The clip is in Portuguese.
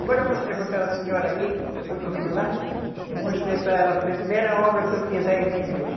Agora eu mostrei para aquela senhora aqui, que foi comigo lá, eu mostrei para ela a primeira obra que eu fiz aí na igreja.